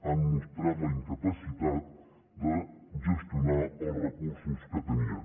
han mostrat la incapacitat de gestionar els recursos que tenien